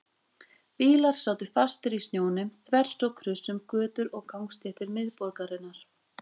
Bílar sátu fastir í snjónum þvers og kruss um götur og gangstéttir miðborgarinnar.